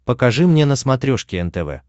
покажи мне на смотрешке нтв